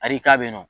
Arika bɛ yen nɔ